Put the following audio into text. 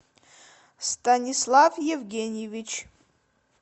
станислав евгеньевич